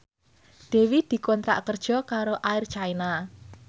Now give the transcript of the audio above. Dewi dikontrak kerja karo Air China